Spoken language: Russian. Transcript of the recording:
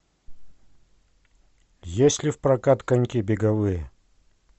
есть ли в прокат коньки беговые